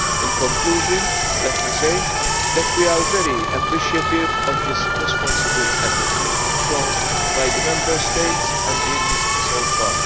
In conclusion let me say that we are very appreciative of the responsible attitude shown by the Member States and the industry so far.